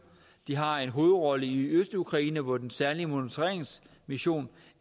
har en hovedrolle i østukraine hvor den særlige monitoreringsmission